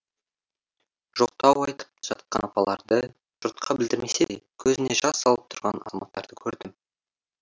жоқтау айтып жатқан апаларды жұртқа білдірмесе де көзіне жас алып тұрған азаматтарды көрдім